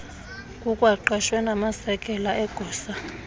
kukwaqeshwe namasekela egosa